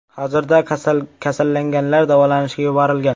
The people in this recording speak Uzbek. Hozirda kasallanganlar davolanishga yuborilgan.